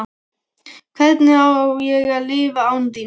Hvernig á ég að lifa án þín?